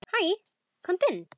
Hæ, komdu inn.